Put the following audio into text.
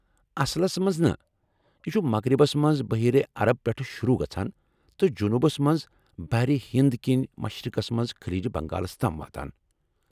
اصلس منز نہٕ ، یہ چُھ مغربس منٛز بحیرے عرب پٮ۪ٹھہٕ شروٗع گژھان تہٕ جنوٗبس منٛز بحر ہند كِنۍ مشرقس منٛز خلیج بنگالس تام واتان ۔